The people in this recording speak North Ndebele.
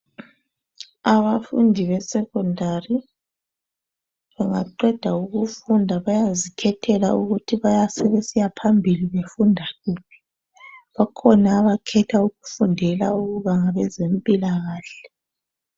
Abafundi be secondary baqeda ukufunda bayazikhethela ukuthi sebesiya phambili befunda kuphi kukhona abakhetha ukufundela ukuba ngabezempilakahle.